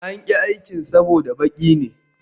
An ƙi aikin saboda baki ne